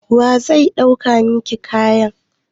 Wa zai ɗaukar miki kayan?